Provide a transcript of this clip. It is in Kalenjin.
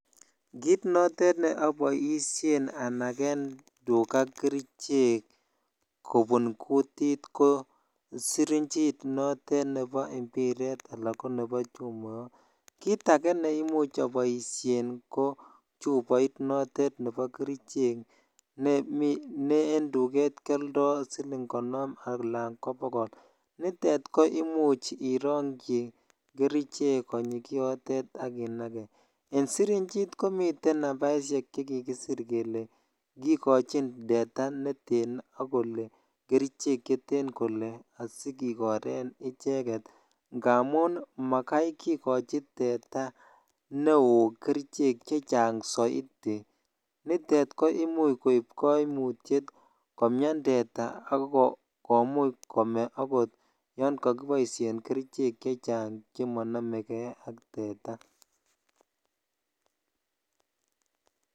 Kiit notet neoboishen anaken tukaa kerichek kobun kutit ko sirinjit notet nebo mbiret anan ko nebo chumoyot, kiit akee neimuch aboishen ko chuboit notet nebo kerichek ne en tuket kioldo siling konom alaan ko bokol, nitet ko imuch irongyi kerichek konyii kiotet ak inakee, en sirinjit komiten nambaishek chekikisir kelee kikochin teta neteno kolee kerichek cheteno kolee asikikoren icheket ngamun makai kikochi teta neoo kerichek chechang soiti, nitet koimuch koib koimutiet komian teta ak komuch kome akot yoon kokiboishen kerichek chechang chemonomeke ak teta.